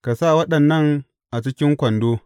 Ka sa waɗannan a cikin kwando.